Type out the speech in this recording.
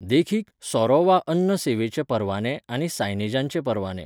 देखीक, सोरो वा अन्न सेवेचे परवाने आनी सायनेजांचे परवाने.